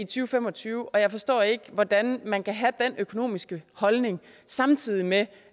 fem og tyve jeg forstår ikke hvordan man kan have den økonomiske holdning samtidig med